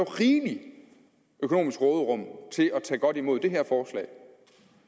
rigeligt økonomisk råderum til at tage godt imod det her forslag